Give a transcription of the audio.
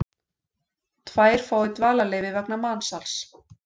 Tvær fái dvalarleyfi vegna mansals